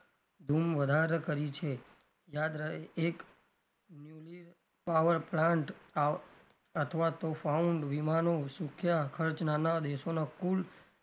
ધૂમ વધાર કરી છે યાદ રહે એક newly power plant અથવા તો found વીમાનું સુક્યા ખર્ચ નાના દેશોના કુલ,